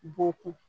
Bɔkun